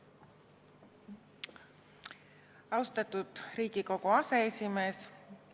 Austatud Riigikogu aseesimees!